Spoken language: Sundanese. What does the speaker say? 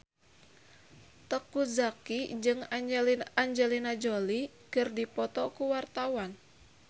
Teuku Zacky jeung Angelina Jolie keur dipoto ku wartawan